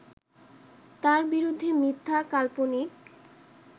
তার বিরুদ্ধে মিথ্যা, কাল্পনিক